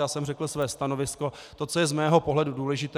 Já jsem řekl své stanovisko, to, co je z mého pohledu důležité.